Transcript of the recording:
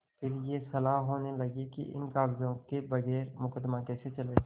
फिर यह सलाह होने लगी कि इन कागजातों के बगैर मुकदमा कैसे चले